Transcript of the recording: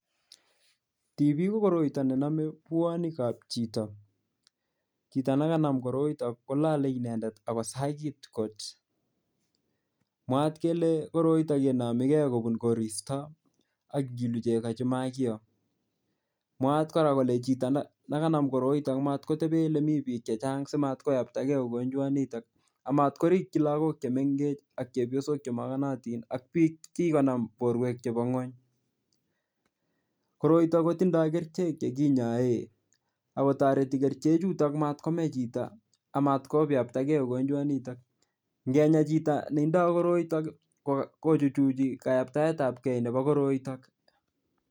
TB ko koroito ne namey buonikab chito. Chito nekanam koroito, kolale inendet akosagit kot. Mwaat kele koroito yeinomigey kobun koristo, akilu chego che makiyoo. Mwaat kora kole chito ne kanam koroito matkotebe ole mii biik chechang simatkoyaptakey mogonjwat nitok. Amatkorikchi lagok che mengech ak chepyosok che makanatin ak biik che kikonam borwek chebo ng'uny. Koroito kotindoi kerichek che kinyaee, akotoreti kerichek chutok matkomei chito, amatkoyaptakey mogonjwat nitok. Ngenyei chito ne tindoi koroito, kochuchi kayaptayetapkey nebo koroitok.